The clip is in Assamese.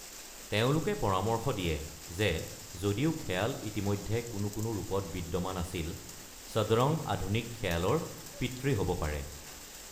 তেওঁলোকে পৰামৰ্শ দিয়ে যে যদিও খিয়াল ইতিমধ্যে কোনো ৰূপত বিদ্যমান আছিল, সদৰং আধুনিক খিয়ালৰ পিতৃ হ'ব পাৰে।